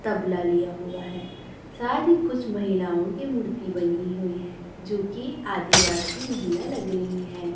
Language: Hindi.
तबला लिया हुआ है साथ ही कुछ महिलाओं की मूर्ति बनी हुई है जो की आदिवासी महिला लग रही है।